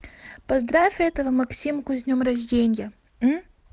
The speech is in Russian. поздравь этого максимку с днём рождения